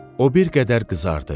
O bir qədər qızardı.